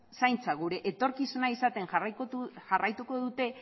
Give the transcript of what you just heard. zaintza gure etorkizuna izaten jarraituko dute